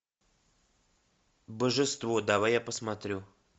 божество давай я посмотрю